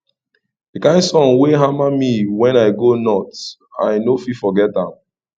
di kain sun wey hama me wen i go north i no fit forget am